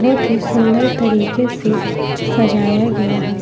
बहोत ही सुंदर तरीके से सजाया गया है।